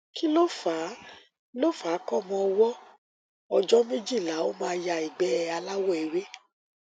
kí lo fa lo fa kọmọ ọwọ ọjọ méjìlá ó máa ya ìgbẹ aláwọ ewé